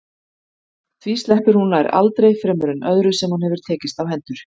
Því sleppir hún nær aldrei fremur en öðru sem hún hefur tekist á hendur.